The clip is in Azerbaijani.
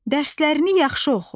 Dərslərini yaxşı oxu.